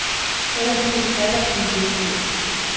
Ellers kunne den atter blive virkelighed.